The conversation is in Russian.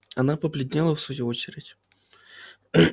она побледнела в свою очередь